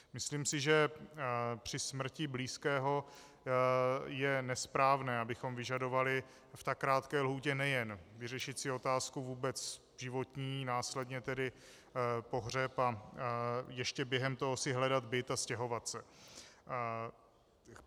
Myslím si, že při smrti blízkého je nesprávné, abychom vyžadovali v tak krátké lhůtě nejen vyřešit si otázku vůbec životní, následně tedy pohřeb a ještě během toho si hledat byt a stěhovat se.